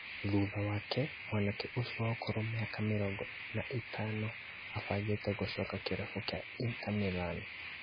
Thutha wake, mwanake ũcio wa ũkũrũ wa mĩaka mĩrongo na ĩtano ĩbangĩte gũcoka kĩrabu kĩa Inter Milan